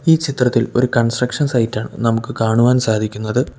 ഈ ചിത്രത്തിൽ ഒരു കൺസ്ട്രക്ഷൻ സൈറ്റാണ് നമുക്ക് കാണുവാൻ സാധിക്കുന്നത്.